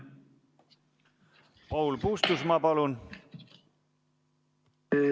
Paul Puustusmaa, palun!